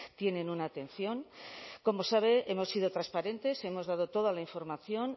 tienen una atención como sabe hemos sido transparentes hemos dado toda la información